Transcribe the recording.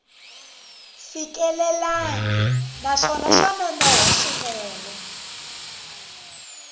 fikelelangi naswona swa nonoha swinene